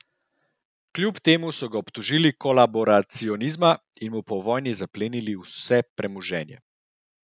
Kljub temu so ga obtožili kolaboracionizma in mu po vojni zaplenili vse premoženje.